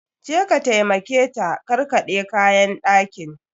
Je ka taimake ta karkaɗe kayan ɗakin!